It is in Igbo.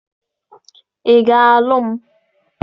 Ị ga-alụ m?